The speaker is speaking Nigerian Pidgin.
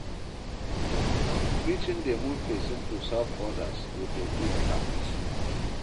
Preaching dey move pesin to serve odas wit a good heart.